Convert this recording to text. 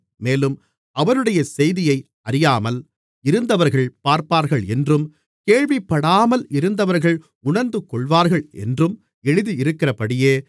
மேலும் அவருடைய செய்தியை அறியாமல் இருந்தவர்கள் பார்ப்பார்கள் என்றும் கேள்விப்படாமல் இருந்தவர்கள் உணர்ந்துகொள்வார்கள் என்றும் எழுதியிருக்கிறபடியே